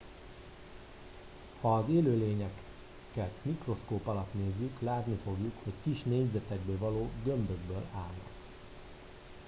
ha az élőlényeket mikroszkóp alatt nézzük látni fogjuk hogy kis négyzetekből vagy gömbökből állnak